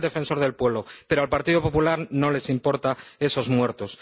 Lo dice el Defensor del Pueblo, pero al Partido Popular no le importan esos muertos.